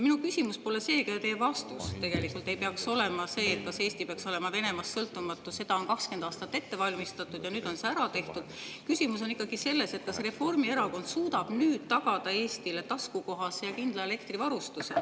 Minu küsimus pole see ja ka teie vastus tegelikult ei peaks olema see, kas Eesti peaks olema Venemaast sõltumatu – seda on 20 aastat ette valmistatud ja nüüd on see ära tehtud –, vaid küsimus on ikkagi selles, kas Reformierakond suudab nüüd tagada Eestile taskukohase ja kindla elektrivarustuse.